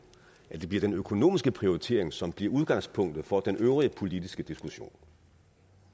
at det bliver den økonomiske prioritering som bliver udgangspunktet for den øvrige politiske diskussion